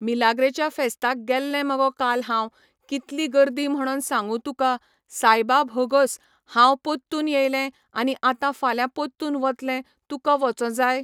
मिलाग्रेच्या फेस्ताक गेल्ले मगो काल हांव कितली गर्दी म्हणोन सांगू तुका सायबा भोगोस हांव पोत्तुन येयले आनी आतां फाल्यां पोत्तुन वतलें तुका वचों जाय